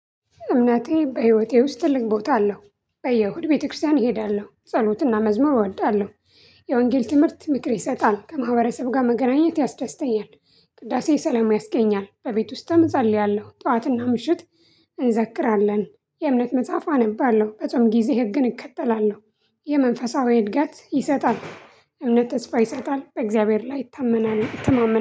እምነቴ በህይወቴ ውስጥ ትልቅ ቦታ አለው በየእሁድ ቤተክርስቲያን እሄዳለሁ ጸሎትና መዝሙር እወዳለሁ። የወንጌል ትምህርት ምክር ይሰጣል ከማህበረሰብ ጋር መገናኘት ያስደስተኛል። ቅዳሴ ሰላም ያስገኛል በቤት ውስጥም እፀልያለሁ ጠዋትና ምሽት። እንዘክራለን የእምነት መጽሐፍ አነባለሁ በጾም ጊዜ ህግን እከተላለሁ። የመንፈሳዊ እድገት ይሰጣል። እምነት ተስፋ ይሰጣል በእግዚአብሔር ላይ ይታመናል ይተማመናል